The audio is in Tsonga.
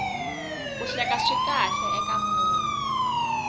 ku hleka swi kahle eka munhu